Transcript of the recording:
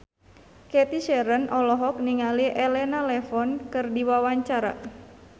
Cathy Sharon olohok ningali Elena Levon keur diwawancara